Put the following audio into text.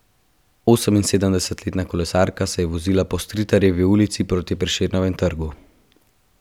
Oseminsedemdesetletna kolesarka je vozila po Stritarjevi ulici proti Prešernovemu trgu.